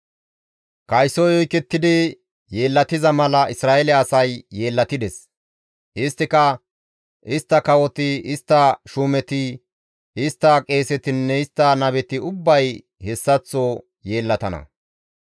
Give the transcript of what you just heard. «Kaysoy oykettidi yeellatiza mala Isra7eele asay yeellatides; isttika, istta kawoti, istta shuumeti, istta qeesetinne istta nabeti ubbay hessaththo yeellatana.